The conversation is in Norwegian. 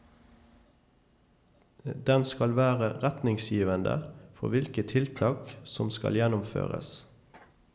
Den skal være retningsgivende for hvilke tiltak som skal gjennomføres.